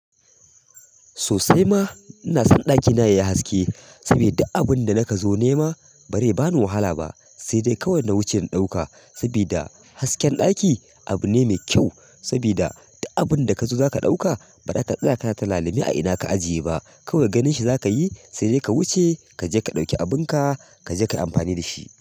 Sosai ma, ina son ɗakina yayi haske saboda duk abun da naka zo nema bari bani wahala ba, sai dai kawai na wuce in ɗauka. Saboda hasken ɗaki abu ne mai kyau, saboda duk abunda kazo zaka ɗauka ba zaka tsaya kana tunanin a ina ka aje ba kawai ganin shi zaka yi sai dai ka wuce kaje ka ɗauka kayi ampani dashi.